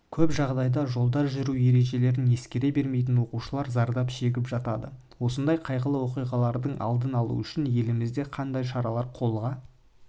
көп жағдайда жолда жүру ережелерін ескере бермейтін оқушылар зардап шегіп жатады осындай қайғылы оқиғалардың алдын алу үшін елімізде қандай шаралар қолға